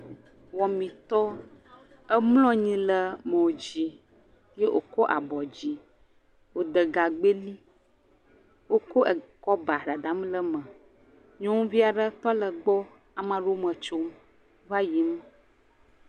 Wɔmitɔwwo. Emlɔ anyi ɖe mɔ dzi ye wokɔ abe yi dzi. Wode gagbɛ ɖi wokɔ e kɔba dadam ɖe eme. Nyɔnuvi aɖe tɔ le gbɔ. Ame aɖewo me tsom va yiyim.